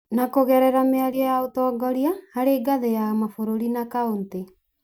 na kũgerera mĩario ya ũtognoria harĩ ngathĩ ya kĩmabũrũri na kauntĩ